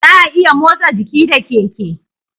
Za'a iya motsa jiki da keke